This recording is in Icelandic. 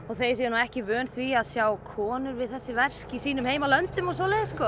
þeir séu nú ekki vanir því að sjá konur við þessi verk í sínum heimalöndum og svoleiðis sko